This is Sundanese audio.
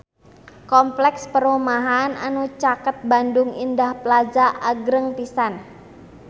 Kompleks perumahan anu caket Bandung Indah Plaza agreng pisan